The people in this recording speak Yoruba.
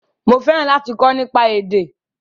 Mo fẹ́ràn láti kọ́ nípa èdè